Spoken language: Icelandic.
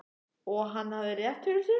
Og hann hafði rétt fyrir sér.